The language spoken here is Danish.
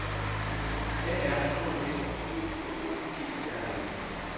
A R K Æ O L O G E R N E